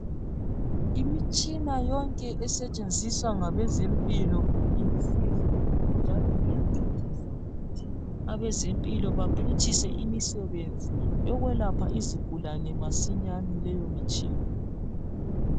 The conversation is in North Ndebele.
Imitshina yonke esetshenziswa ngabezempilo ilusizo njalo iyancedisa ukuthi abezempilo baphutshise imisebenzi yokwelapha izigulane masinyane leyo mitshina.